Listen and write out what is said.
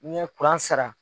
Ne ye kuran sara.